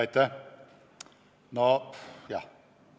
Aitäh!